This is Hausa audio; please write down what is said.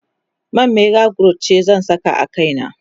man mega growth ce zan sa a kaina